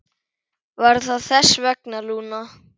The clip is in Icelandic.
Var það þess vegna, Lúna?